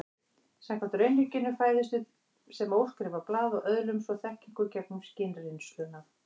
Samkvæmt raunhyggjunni fæðumst við sem óskrifað blað og öðlumst svo þekkingu gegnum skynreynsluna.